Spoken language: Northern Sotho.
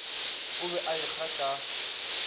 o be a ekga ka